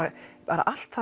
allt